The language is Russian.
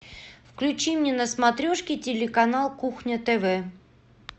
включи мне на смотрешке телеканал кухня тв